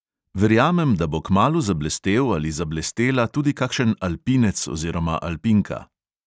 Verjamem, da bo kmalu zablestel ali zablestela tudi kakšen alpinec oziroma alpinka.